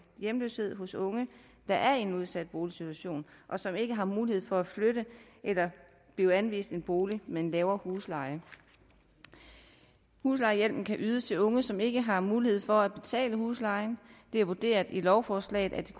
hjemløshed hos unge der er i en udsat boligsituation og som ikke har mulighed for at flytte eller blive anvist en bolig med en lavere husleje huslejehjælpen kan ydes til unge som ikke har mulighed for at betale huslejen det er vurderet i lovforslaget at det